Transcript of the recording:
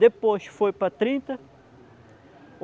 Depois foi para trinta.